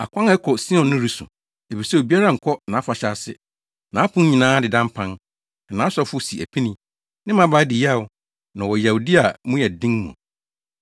Akwan a ɛkɔ Sion no resu, efisɛ obiara nkɔ nʼafahyɛ ase. Nʼapon nyinaa adeda mpan, na nʼasɔfo si apini, ne mmabaa di yaw, na ɔwɔ yawdi a mu yɛ den mu.